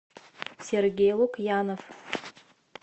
сергей лукьянов